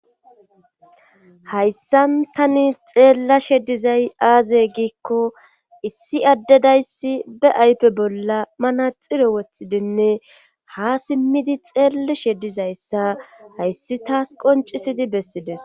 hayssan tani xeellashe dizay aazey giikko issi addedayssi be aype bolla manaxiro wothidinne ha simmidi xeellashe dizayssa hayssi taas qoncisidi bessides